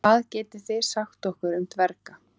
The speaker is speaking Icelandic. Hvað getið þið sagt okkur um dverga?